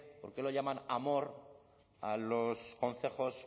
por qué lo llaman amor a los concejos